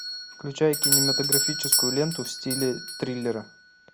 включай кинематографическую ленту в стиле триллера